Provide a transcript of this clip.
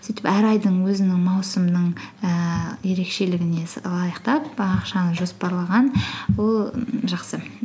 сөйтіп әр айдын өзінің маусымының ііі ерекшелігіне лайықтап і ақшаны жоспарлаған ол жақсы